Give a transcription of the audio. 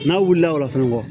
N'a wulila o la fɛnɛ